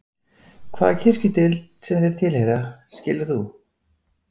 Hvaða kirkjudeild sem þeir tilheyra, skilur þú?